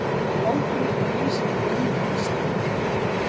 Hold mitt rís af heimfýsn.